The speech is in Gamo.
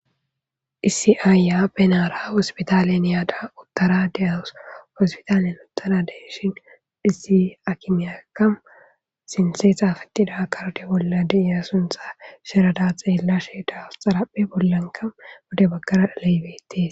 Issi aayyiya benaara hosppithaaleni yada uththara de7awus; hosppithaaliyan uththara de7ishin issi aakimiyaakka sinththe xaafeththida kardde bolla de7iyaa sunththaa zarada xeellashee de7awus; zaraphphe bollankka pude baggara xalaae beeththees.